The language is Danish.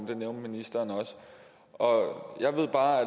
det nævnte ministeren også og jeg ved bare